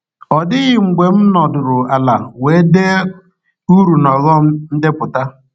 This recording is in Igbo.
Ọ dịghị mgbe m nọdụrụ ala wee dee uru na ọghọm ndepụta.